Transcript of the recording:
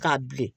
K'a bilen